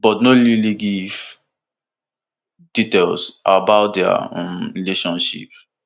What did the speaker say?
but no really really give details about dia um relationship